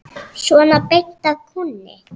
Svona beint af kúnni.